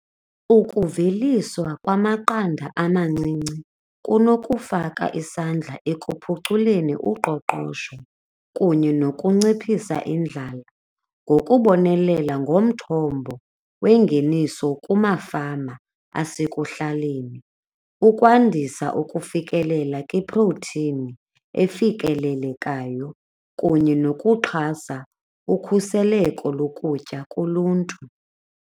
Ukuveliswa kwamaqanda amancinci kunokufaka isandla ekuphuculeni uqoqosho kunye nokunciphisa indlala ngokubonelela ngomthombo wengeniso kumafama asekuhlaleni, ukwandisa ukufikelela kwiphrowuthini efikelelekayo kunye nokuxhasa ukhuseleko lokutya kuluntu.